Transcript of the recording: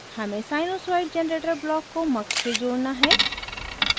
हमें sinusoid generator block को mux से जोड़ना है